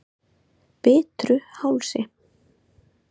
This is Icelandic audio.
Bitruhálsi